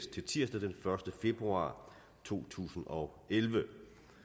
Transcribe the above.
til tirsdag den første februar to tusind og elleve